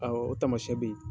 Awɔ o taamasiyɛn bɛ ye.